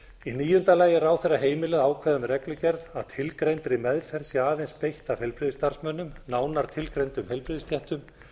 í níunda lagi er ráðherra heimilað að ákveða með reglugerð að tilgreindri meðferð sé aðeins beitt af heilbrigðisstarfsmönnum nánar tilgreindum heilbrigðisstéttum